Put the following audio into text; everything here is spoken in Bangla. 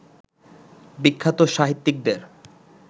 বিখ্যাত সাহিত্যিকদের